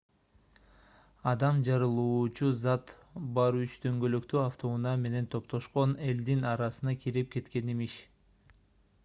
адам жарылуучу зат бар үч дөңгөлөктүү автоунаа менен топтошкон элдин арасына кирип кеткен имиш